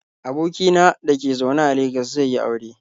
Aboki na da ke zaune a Legas zai yi aure.